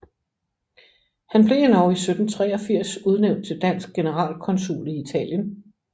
Han blev endog i 1783 udnævnt til dansk generalkonsul i Italien